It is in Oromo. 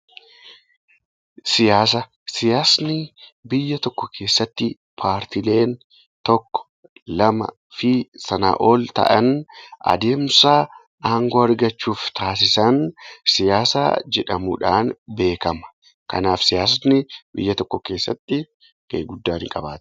Siyaasni biyya tokko keessatti paartiileen tokko, lamaa fi sanaa ol ta'an adeemsa aangoo argachuuf taasisan siyaasa jedhamuudhaan beekama. Kanaaf siyaasni biyya tokko keessatti gahee guddaa ni qaba.